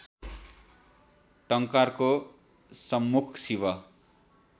टंकारको सम्मुख शिव